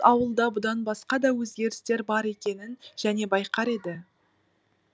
ауылда бұдан басқа да өзгерістер бар екенін және байқар еді